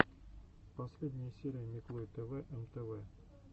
последняя серия миклой тэвэ эм тэ вэ